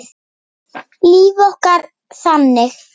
Líf okkar þannig?